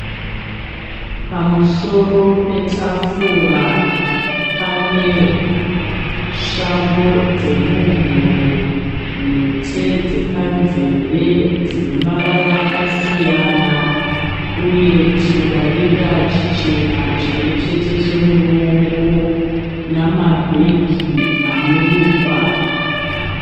Pamusoro petafura pane shambo dzemuhuro, mhete dzepanzeve dzine mavara akasiyana uye chindarira chichena chimwe chete chemuruoko namabhegi anorukwa.